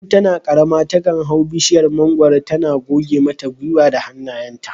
Tun tana karama takan hau bishiyar mangwaro tana goge mata gwiwa da hannayenta